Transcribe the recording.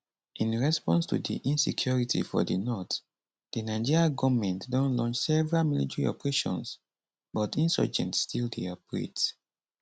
in response to di insecurity for di north di nigerian goment don launch several military operations but insurgents still dey operate